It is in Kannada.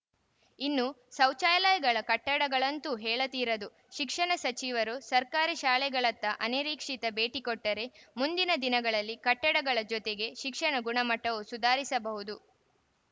ಇನ್ನೂ ಶೌಚಾಲಯಗಳ ಕಟ್ಟಡಗಳಂತೂ ಹೇಳ ತೀರದು ಶಿಕ್ಷಣ ಸಚಿವರು ಸರ್ಕಾರಿ ಶಾಲೆಗಳತ್ತ ಅನೀರಿಕ್ಷಿತ ಭೇಟಿ ಕೊಟ್ಟರೆ ಮುಂದಿನ ದಿನಗಳಲ್ಲಿ ಕಟ್ಟಡಗಳ ಜೊತೆಗೆ ಶಿಕ್ಷಣ ಗುಣಮಟ್ಟವೂ ಸುಧಾರಿಸಬಹುದು